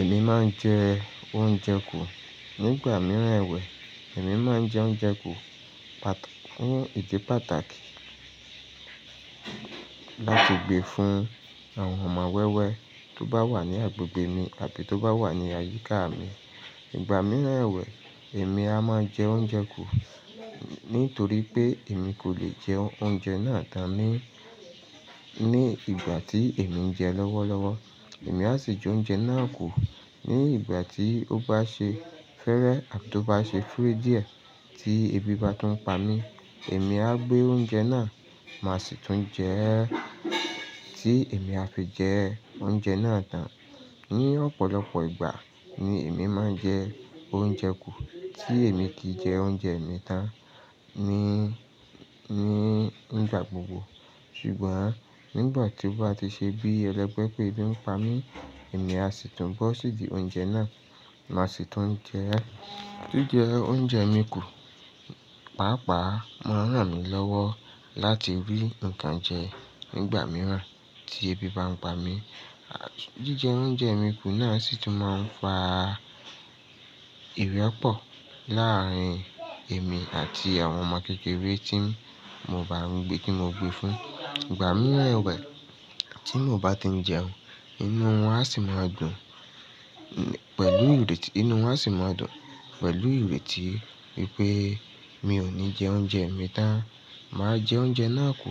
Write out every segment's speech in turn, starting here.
Èmi máa ń jẹ oúnjẹ kù nígbà mìíràn ẹ̀wẹ̀, èmi máa ń jẹ oúnjẹ kù pàt-fún ìdí pàtàkì láti gbe fún àwọn ọmọ wẹ́wẹ́ tó bá wà ní agbègbè mi àti tó bá wà ní àyíká mi. Ìgbà mìíràn ẹ̀wẹ̀, èmi a máa jẹ oúnjẹ kù nítorí pé èmi kò lè jẹ oúnjẹ náà tán ní, ní ìgbà tí èmi ń jẹ lọ́wọ́lọ́wọ́. Èmi a sì jẹ oúnjẹ náà kù ní ìgbà tí ó bá ṣe fẹ́rẹ àti tó bá ṣe fúùdìà tí ebi bá tún ń pa mí. Èmi a gbé oúnjẹ náà, màá sì tún jẹ ẹ́ tí èmi a fi jẹ oúnjẹ náà tán. Ni ọ̀pọ̀lọpọ̀ ìgbà ni èmi máa ń jẹ oúnjẹ kù tí èmi ti jẹ oúnjẹ mi tán ní, ní ìgbà gbogbo. Ṣùgbọ́n nígbà tí ó bá ti ṣe bí ẹlẹ́gbẹ́ pé ebi ń pa mí, èmi a sì tún bọ́ sídi oúnjẹ náà, màá sì tún jẹ ẹ́. Jíjẹ oúnjẹ mi kù, pàápàá, máa ń ràn mí lọ́wọ́ láti rí ǹkan jẹ nígbà mìíràn tí ebi bá ń pa mí. Àti jíjẹ oúnjẹ mi kù náà sì tún máa ń fa ìrẹ́pọ̀ láàárín èmi àti àwọn ọmọ kékeré tí mo bá ń gbé, tí mo gbé fún. Ìgbà mìíràn ẹ̀wẹ̀ tí mo bá ti ń jẹun, inú wọn a sì máa dùn pẹ̀lú ìrètí, inú wọn a sì máa dùn pẹ̀lú ìrètí wipé mi ò ní jẹ oúnjẹ mi tán, màá jẹ oúnjẹ náà kù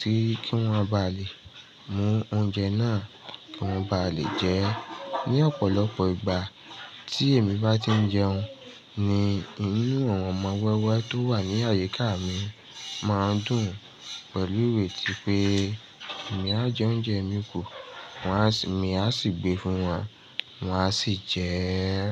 tí kí wọ́n bá lè mú oúnjẹ náà, kí wọ́n bá lè jẹ ẹ́. Ni ọ̀pọ̀lọpọ̀ ìgbà tí èmi bá ti ń jẹun ni inú àwọn ọmọ wẹ́wẹ́ tó wà ní àyíká mi máa ń dùn pẹ̀lú ìrètí wipé èmi a jẹ oúnjẹ mi kù, wọ́n á sì, èmi a sì gbé fún wọn, wọ́n a sì jẹ ẹ́.